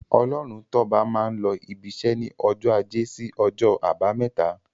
Ọlọ́runtọ́ba máa n lọ ibiṣẹ́ ní ọjọ́ ajé sí ọjọ́ àbámẹ́ta.